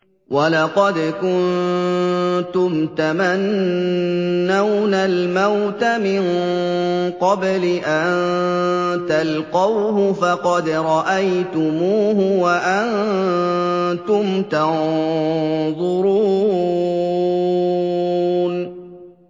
وَلَقَدْ كُنتُمْ تَمَنَّوْنَ الْمَوْتَ مِن قَبْلِ أَن تَلْقَوْهُ فَقَدْ رَأَيْتُمُوهُ وَأَنتُمْ تَنظُرُونَ